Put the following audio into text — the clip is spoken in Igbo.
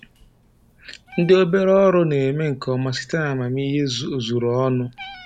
Ndị obere ọrụ na-eme nke ọma site n'amamihe ozuru ọnụ